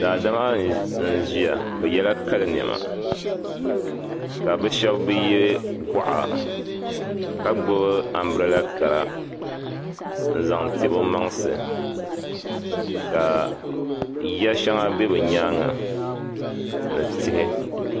Daadama n ʒiya bɛ yela Kali nema ka bi shɛba ye gɔɣa ka gbubi ambirila Kara n zaŋti bɛ maŋsi ka ya shɛŋa bɛ be nyaaŋa ni tihi